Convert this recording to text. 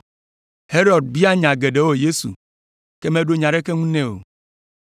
Herod bia nya geɖewo Yesu, ke meɖo ɖeke ŋu nɛ o.